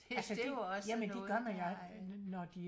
Så det er jo også noget der øh